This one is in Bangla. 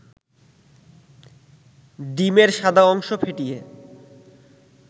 ডিমের সাদা অংশ ফেটিয়ে